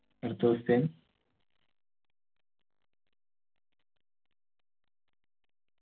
അടുത്ത question